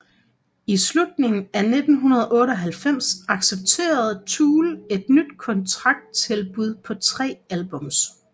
I slutningen af 1998 accepterede Tool et ny kontrakttilbud på tre albums